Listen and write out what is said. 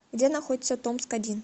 где находится томск один